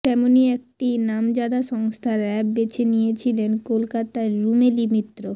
তেমনি একটি নামজাদা সংস্থার অ্যাপ বেছে নিয়েছিলেন কলকাতার রুমেলি মিত্র